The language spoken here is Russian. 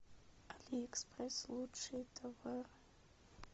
алиэкспресс лучшие товары